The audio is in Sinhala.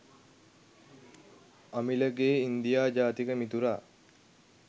අමිලගේ ඉන්දියා ජාතික මිතුරා